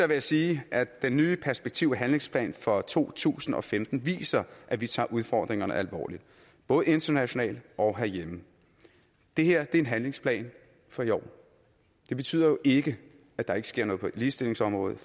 jeg sige at den nye perspektiv og handlingsplan for to tusind og femten viser at vi tager udfordringerne alvorligt både internationalt og herhjemme det her er en handlingsplan for i år det betyder jo ikke at der ikke sker noget på ligestillingsområdet